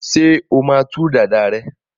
ṣe ọ má tú Dàda rẹ?